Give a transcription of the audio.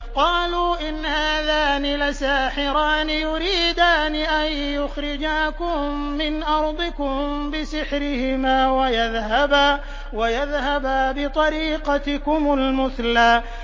قَالُوا إِنْ هَٰذَانِ لَسَاحِرَانِ يُرِيدَانِ أَن يُخْرِجَاكُم مِّنْ أَرْضِكُم بِسِحْرِهِمَا وَيَذْهَبَا بِطَرِيقَتِكُمُ الْمُثْلَىٰ